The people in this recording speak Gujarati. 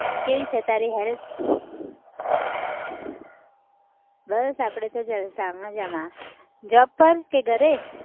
કેવી છે તારી health? બસ આપણે તો જલસા મજામાં job ઉપર કે ઘરે?